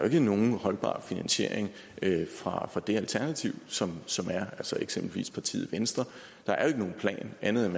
er nogen holdbar finansiering fra det alternativ som som er eksempelvis partiet venstre der er ikke nogen plan andet end